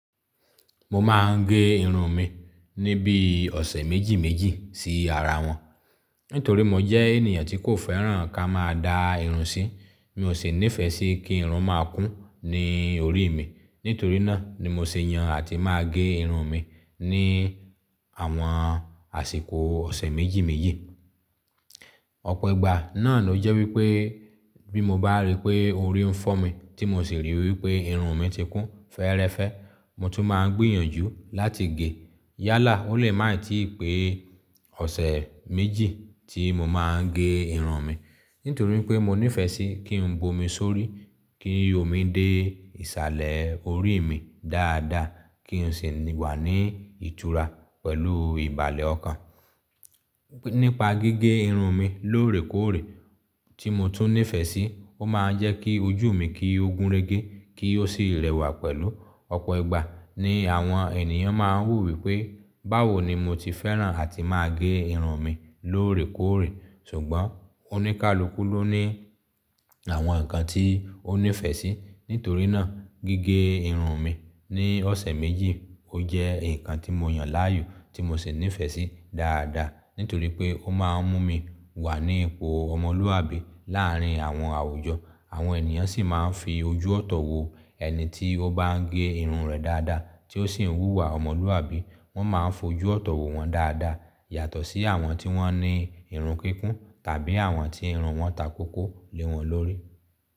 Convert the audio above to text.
Mo máa ń gé irun mi níbí ọ̀sẹ̀ méjì méjì sí ara wọn. Nítorí mo jẹ́ ènìyàn tí kò fẹ́ràn ká máa dá irun sí. Mi ò ṣe níìfẹ̀ sí kí irun máa kún ní orí mi. Nítorí náà ni mo ṣèyàn àti máa gé irun mi ní àwọn àsìkò ọ̀sẹ̀ méjì méjì. Ọ̀pọ̀ ìgbà náà ló jẹ́ wípé bí mo bá rí pé orí ń fọ́ mi tí mo sì rí wípé irun mi ti kún fẹ́ẹ́rẹ́fẹ́, mo tún máa ń gbìyànjú láti gé. Yálà ó lè máì tí ì pé ọ̀sẹ̀ méjì tí mo máa ń gé irun mi. Nítorí pé mo nífẹ̀ẹ́ sí kí n bo mi sórí, kí omi dé ìsàlẹ̀ orí mi dáadáa, kí n sì wà ní ìtura pẹ̀lú ìbàlẹ̀ ọkàn. Nípa gígé irun mi lóòrèkóòrè tí mo tún nífẹ̀ẹ́ sí, ó máa ń jẹ́ kí ojú mi kí ogun régé kí ó sì rẹwà pẹ̀lú. Ọ̀pọ̀ ìgbà ni àwọn ènìyàn máa ń wo wí pé báwo ni mo ti fẹ́ràn àti máa gé irun mi lóòrèkóòrè. Ṣùgbọ́n oníkálukú ló ní àwọn nǹkan tí ó nífẹ̀ẹ́ sí. Nítorí náà gígé irun mi ní ọ̀sẹ̀ méjì ó jẹ́ nǹkan tí mo yàn láàyò tí mo sì nífẹ̀ẹ́ sí dáadáa. Nítorí pé ó máa ń mú mi wà ní ipò ọmọlúwàbí láàárín àwọn àwùjọ. Àwọn ènìyàn sì máa ń fi ojú ọ̀tọ̀ wo ẹni tí ó bá ń gé irun rẹ̀ dáadáa tí ó sì ń wúwa ọmọlúwàbí. Wọ́n máa ń fojú ọ̀tọ̀ wo wọn dáadáa yàtọ̀ sí àwọn tí wọ́n ní irun kíkún tàbí àwọn tí irun wọn takókó lé wọn lórí.